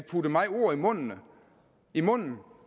mig ord i munden i munden